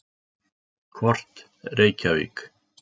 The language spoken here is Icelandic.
Kort: Reykjavík.